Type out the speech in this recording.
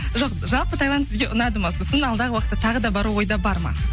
жоқ жалпы тайланд сізге ұнады ма сосын алдағы уақытта тағы да бару ойда бар ма